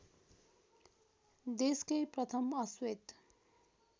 देशकै प्रथम अश्वेत